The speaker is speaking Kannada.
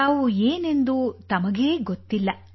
ತಾವು ಏನೆಂದು ತಮಗೇ ಗೊತ್ತಿಲ್ಲ